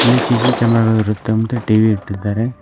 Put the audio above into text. ಇಲ್ಲಿ CC camera ಗಳು ಇರುತ್ತೆ ಮತ್ತೆ ಟಿ_ವಿ ಇಟ್ಟಿದ್ದಾರೆ.